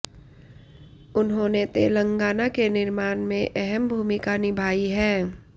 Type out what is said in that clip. उन्होंने तेलंगाना के निर्माण में अहम भूमिका निभायी है